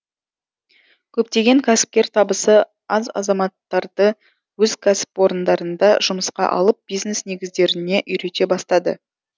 көптеген кәсіпкер табысы аз азаматтарды өз кәсіпорындарына жұмысқа алып бизнес негіздеріне үйрете бастады